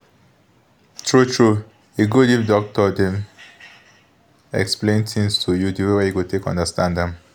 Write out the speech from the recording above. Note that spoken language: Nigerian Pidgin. true-true e dey good if doctors dem explain tins to you the way you go take understand am